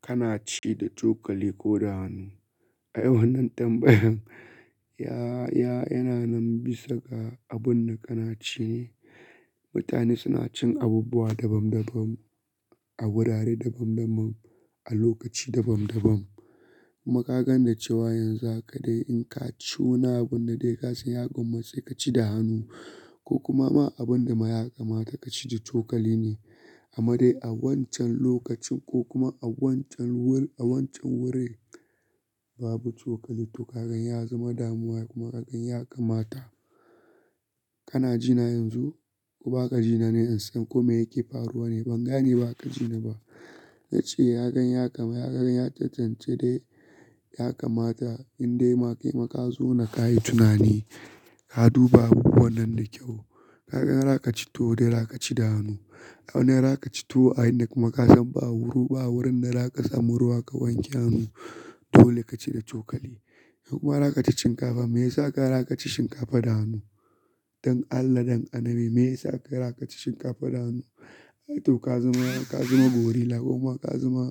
Kana ci da cokali ko da hannu. Ai wannan tambayan, ya, ya yana nan bisa ga abun da kana ci ne. Mutane suna cin abubuwa dabam dabam, a wurare dabam dabam, a lokaci dabam dabam. Kuma ƙagan da cewa yanzu haka dai in ka ci wani abun da dai ka san ya gwammace ka ci da hannu ko kuma ma abin da yaƙa mata ka ci da cokali ne. Amma dai a wancan lokacin ko kuma a wancan wur-- a wancan wurin babu cokali to kagan ya zama damuwa kuma kagan ya kamata. Kana jina yanzu ko baka jina ne in san kome yake faruwa ne ban gane baka jina ba. Nace yagan ya kama, yagan ya cancanci dai ya kamata in dai ma kai makazo na ka yi tunani, ka duba abubu wannan da kyau. Kagan rakaci to dai rakaci da hannu. A wane rakaci to a ina kuma ka san ba wuri, ba wurin da za ka samu ruwa ka wanke hannu dole ka ci da cokali. Kuma rakaci shinkafa, me ya sa ka rakaci shinkafa da hannu? Don Allah don Annabi, me ya sa ka rakaci shinkafa da hannu? To ka zama, ka zama gorilla kuma ka zama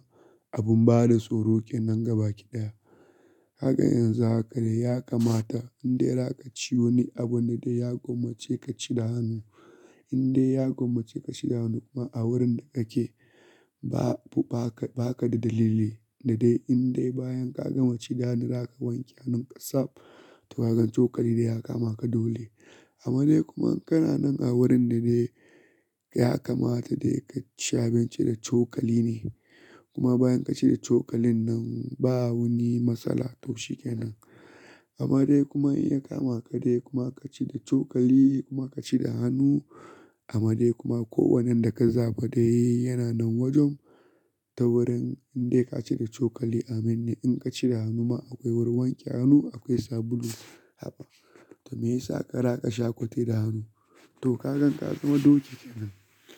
abun bada tsoro kenan gaba ki daya. Kaga yanzu haka dai ya kamata in dai rakaci wani abu na dai ya gwammace ka ci da hannu. In dai ya gwammace ka ci da hannu kuma a wurin da kake babu, baka, baka da dalili da dai in dai bayan ka gama ci da hannu rakawanke hannun ka sab da kagan cokali dai ya kama ka dole. Amma dai kuma in kana nan a wurin da dai ya kamata dai ka ci abinci da cokali ne. Kuma bayan ka ci da cokalin nan ba wani matsala taushe kenan. Amma dai kuma in ya kama ka dai kuma ka ci da cokali kuma ka ci da hannu, amma dai kuma ko wannan da ka zaɓa dai yana nan wajen ta wurin in dai ka ci da cokali aminne in ka ci da hannu ma akwai wurin wanke hannu akwai sabulu haka. To me ya sa ka rakasha kwate da hannu? To kagan ka zama doki kenan.